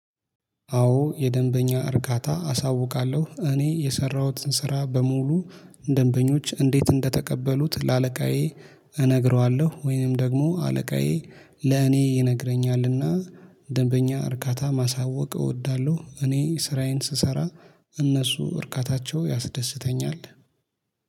አዎ የደንበኛ እርካታ አሳውቃለሁ እኔ የሰራሁትን ስራ በሙሉ ደንበኞች እንዴት እንደተቀበሉት ለአለቃዬ እነግረዋለሁ ወይንም ደግሞ አለቃዬ ለእኔ ይነግረኛልና ደንበኛ እርካታ ማሳወቅ እወዳለሁ። እኔ ስራዬን ስሰራ እነሱ እርካታቸው ያስደስተኛል